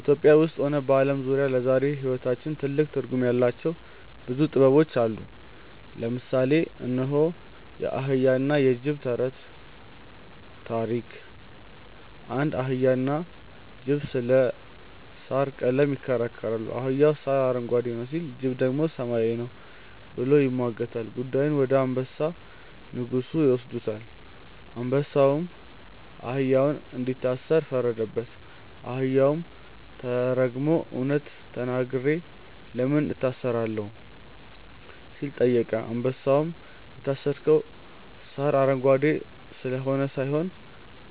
ኢትዮጵያ ውስጥም ሆነ በዓለም ዙሪያ ለዛሬው ሕይወታችን ትልቅ ትርጉም ያላቸው ብዙ ጥበቦች አሉ። ለምሳሌ እነሆ፦ የአህያና የጅብ ተረት (ታሪክ) አንድ አህያና ጅብ ስለ ሣር ቀለም ይከራከራሉ። አህያው "ሣር አረንጓዴ ነው" ሲል፣ ጅቡ ደግሞ "ሰማያዊ ነው" ብሎ ይሟገታል። ጉዳዩን ወደ አንበሳ (ንጉሡ) ይወስዱታል። አንበሳውም አህያውን እንዲታሰር ፈረደበት። አህያውም ተገርሞ "እውነት ተናግሬ ለምን እታሰራለሁ?" ሲል ጠየቀ። አንበሳውም "የታሰርከው ሣር አረንጓዴ ስለሆነ ሳይሆን፣